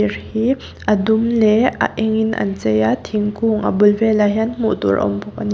hi adum leh a eng in an chei a thingkung a bul velah hian hmuhtur a awm bawk ani.